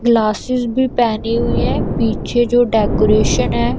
Glasses भी पेहनी हुईं हैं पीछे जो डेकोरेशन हैं।